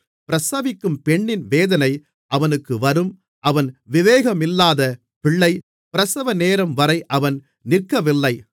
பிரசவிக்கும் பெண்ணின் வேதனை அவனுக்கு வரும் அவன் விவேகமில்லாத பிள்ளை பிரசவநேரம் வரை அவன் நிற்கவில்லை